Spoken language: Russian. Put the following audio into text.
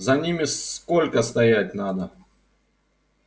за ними сколько стоять надо